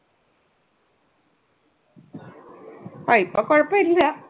ആ ഇപ്പൊ കുഴപ്പം ഇല്ല.